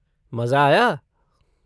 मज़ा आया?